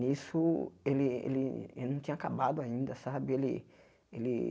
Nisso, ele ele ele não tinha acabado ainda, sabe? Ele ele